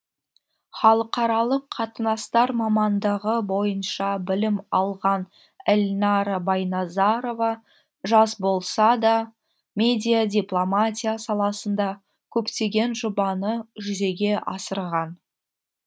халықаралық қатынастар мамандығы бойынша білім алған эльнара байназарова жас болса да медиадипломатия саласында көптеген жобаны жүзеге асырған